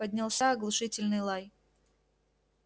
поднялся оглушительный лай